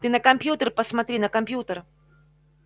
ты на компьютер посмотри на компьютер